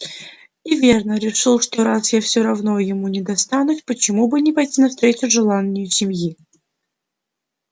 и верно решил что раз я все равно ему не достанусь почему бы не пойти навстречу желанию семьи